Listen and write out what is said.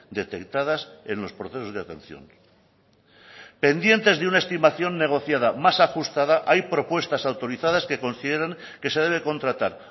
detectadas en los procesos de atención pendientes de una estimación negociada más ajustada hay propuestas autorizadas que consideren que se debe contratar